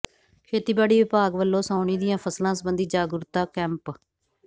ਖੇਤੀਬਾੜੀ ਵਿਭਾਗ ਵਲੋਂ ਸਾਉਣੀ ਦੀਆਂ ਫ਼ਸਲਾਂ ਸਬੰਧੀ ਜਾਗਰੂਕਤਾ ਕੈਂਪ